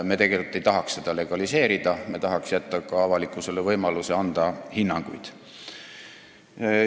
Me tegelikult ei tahaks seda legaliseerida, me tahaks jätta ka avalikkusele võimaluse anda hinnanguid.